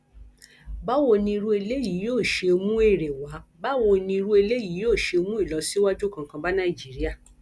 báwo ni irú eléyìí yóò ṣe mú èrè wá báwo ni irú eléyìí yóò ṣe mú ìlọsíwájú kankan bá nàìjíríà